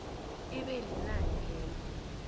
ibe linani lelo